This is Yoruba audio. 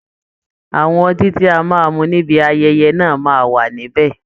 Àwọn ọtí tí a máa mu níbi ayẹyẹ náà máa wà nibẹ